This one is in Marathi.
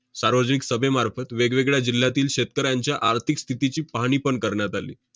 सार्वजनिक सभेमार्फत वेगवेगळ्या जिल्ह्यातील शेतकऱ्यांच्या आर्थिक स्थितीची पाहणी पण करण्यात आली.